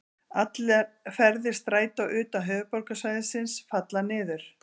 Allir ferðir Strætó utan höfuðborgarsvæðisins falla niður.